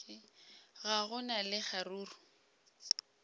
ga go na le kgaruru